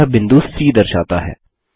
यह बिंदु सी दर्शाता है